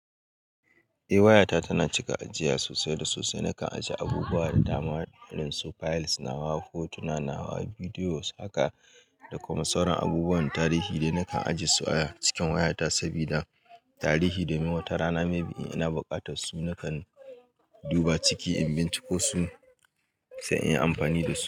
Eh wayata tana cika ajiya sosai da sosai. Nakan ajiye abubuwa da dama irin su files nawa, hotuna nawa, videos haka da kuma sauran abubuwan tarihi dai nakan ajiye su a cikin wayata sabida tarihi domin wata rana maybe ina buƙatar su nakan duba ciki in binciko su sai inyi amfani da su.